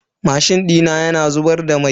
Mashin dina yana zubar da mai.